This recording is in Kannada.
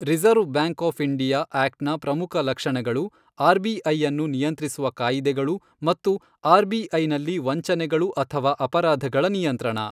Reserve bank of India act ನ ಪ್ರಮುಖ ಲಕ್ಷಣಗಳು ಆರ್ ಬಿ ಐಅನ್ನು ನಿಯಂತ್ರಿಸುವ ಕಾಯಿದೆಗಳು ಮತ್ತು ಆರ್ ಬಿ ಐನಲ್ಲಿ ವಂಚನೆಗಳು ಅಥವಾ ಅಪರಾಧಗಳ ನಿಯಂತ್ರಣ.